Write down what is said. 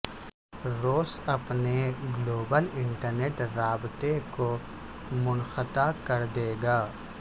روس اپنے global internet رابطے کو منقطع کر دے گا